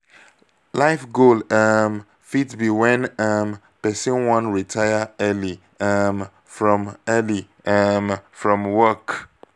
life goal um fit be when um person wan retire early um from early um from work